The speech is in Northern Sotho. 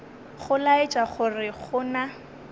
go laetša gore go na